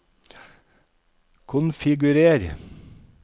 konfigurer